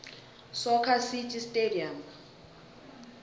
soccer city stadium